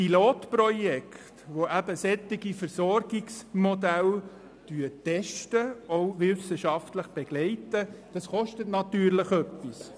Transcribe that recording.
Pilotprojekte, die solche Versorgungsmodelle testen und auch wissenschaftlich begleiten, kosten etwas.